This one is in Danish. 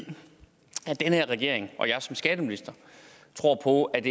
den her regering og jeg som skatteminister tror på at